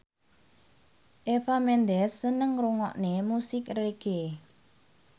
Eva Mendes seneng ngrungokne musik reggae